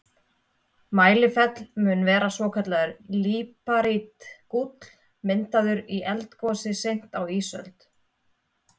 Mælifell mun vera svokallaður líparítgúll, myndaður í eldgosi seint á ísöld.